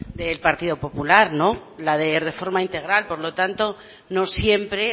del partido popular la de reforma integral por lo tanto no siempre